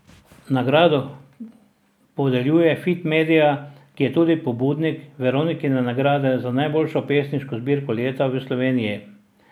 Nagrado podeljuje Fit media, ki je tudi pobudnik Veronikine nagrade za najboljšo pesniško zbirko leta v Sloveniji.